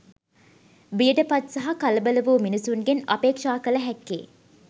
බියට පත් සහ කලබල වූ මිනිසුන්ගෙන් අපේක්‍ෂා කළ හැක්කේ